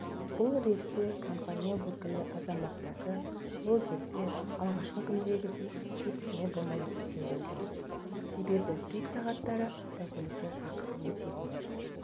бұл ретте компания өкілі азаматтарды ол жерде алғашқы күндегідей кептеме болмайды деп сендірді себебі пик сағаттары автокөліктер ақысыз өте береді